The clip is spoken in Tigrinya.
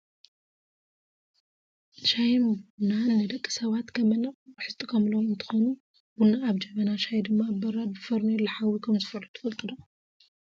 ሻሂን ቡና ንደቂ ሰባት ከም መነቃቅሒ ዝጥቀሙሎም እንትከውን ቡና ኣብ ጀበና ሻሂ ድማ ኣብ በራድ ብፋርኔሎ ሓዊ ከምዝፈልሑ ትፈልጡ ዶ ?